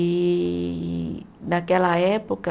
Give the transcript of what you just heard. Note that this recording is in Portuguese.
E naquela época